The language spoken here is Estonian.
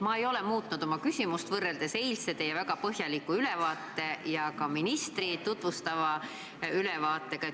Ma ei ole muutnud oma küsimust, mis tekkis pärast teie eilset väga põhjalikku ülevaadet ja ka ministri tutvustavat ülevaadet.